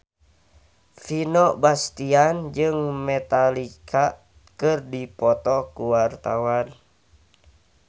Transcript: Vino Bastian jeung Metallica keur dipoto ku wartawan